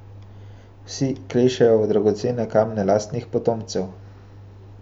Vsi klešejo v dragocene kamne lastnih potomcev.